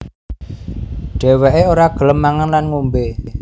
Dheweke ora gelem mangan lan ngombe